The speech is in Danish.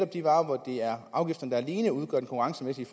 de varer hvor afgifterne alene udgør den konkurrencemæssige